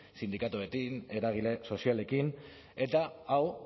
sindikatuekin eragile sozialekin eta hau